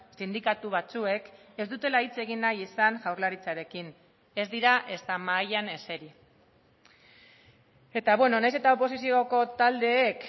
sindikatu batzuek ez dutela hitz egin nahi izan jaurlaritzarekin ez dira ezta mahaian eseri eta beno nahiz eta oposizioko taldeek